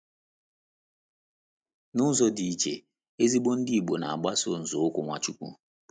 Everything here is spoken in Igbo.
N’ụzọ dị iche, ezigbo Ndị Igbo na - agbaso nzọụkwụ Nwachukwu.